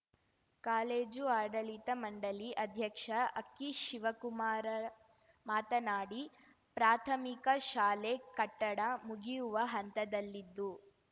college ಆಡಳಿತ ಮಂಡಳಿ ಅಧ್ಯಕ್ಷ ಅಕ್ಕಿ ಶಿವಕುಮಾರ ಮಾತನಾಡಿ ಪ್ರಾಥಮಿಕ ಶಾಲೆ ಕಟ್ಟಡ ಮುಗಿಯುವ ಹಂತದಲ್ಲಿದ್ದು